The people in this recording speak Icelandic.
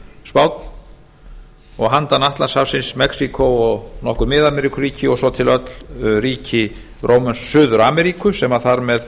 spánn og handan atlantshafsins mexíkó og nokkur mið ameríkuríki og svo til öll ríki suður ameríku sem þar með